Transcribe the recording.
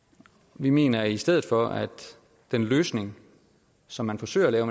vi mener i stedet for at den løsning som man forsøger at lave